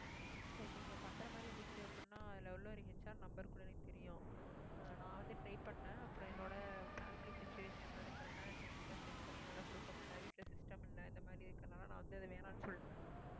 சரி நீங்க பண்ற மாதிரி இருந்துச்சு அப்படின்னா அதுல உள்ள ஒரு HR number கூட எனக்கு தெரியும் நான் அஹ் வந்து try பண்ணேன் அப்புறம் என்னோட family situation அது correct ஆன time ல set பண்ணி என்னால கொடுக்க முடியலை வீட்டுல system இல்லை இந்த மாதிரி இருக்கறதுனால நான் வந்து அதை வேணாம்னு சொல்லிட்டேன்